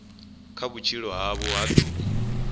kha vhutshilo havho ha ḓuvha